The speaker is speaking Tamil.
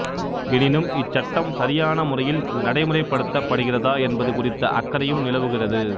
எனினும் இச்சட்டம் சரியான முறையில் நடைமுறைப்படுத்தப்படுகிறதா என்பது குறித்த அக்கறையும் நிலவுகிறது